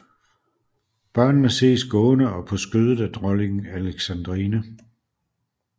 Børnene ses gående og på skødet af Dronning Alexandrine